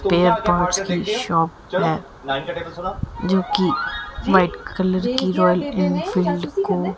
पे पास कि शॉप है जोकि व्हाइट कलर कि रॉयल एनफील्ड को--